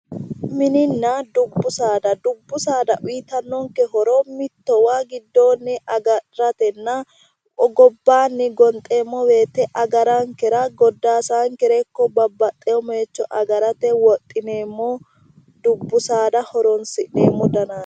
Minina dubbu saada, dubbu saada uuyitannonke horo mittowa giddoonni agadhatenna gobbaanni gonxeemmo woyiite agarankera, goddaasaankere ikko babbaxewo mooyiicho agarate wodhineemmo dubbu saada horonsi'neemmo danaati.